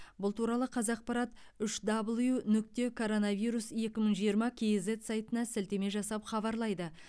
бұл туралы қазақпарат үш дабл ю нүкте короновирус екі мың жиырма кейзэт сайтына сілтеме жасап хабарлайды